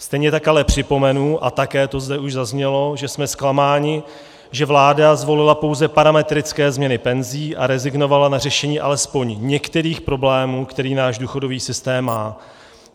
Stejně tak ale připomenu, a také to zde už zaznělo, že jsme zklamáni, že vláda zvolila pouze parametrické změny penzí a rezignovala na řešení alespoň některých problémů, které náš důchodový systém má.